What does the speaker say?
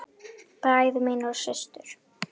Bræður mínir og systur.